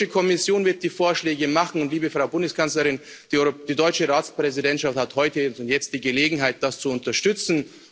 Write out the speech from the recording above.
Die Europäische Kommission wird die Vorschläge machen, und, liebe Frau Bundeskanzlerin, die deutsche Ratspräsidentschaft hat heute und jetzt die Gelegenheit, das zu unterstützen.